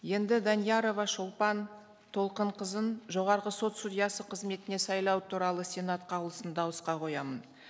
енді даниярова шолпан толқынқызын жоғарғы сот судьясы қызметіне сайлау туралы сенат қаулысын дауысқа қоямын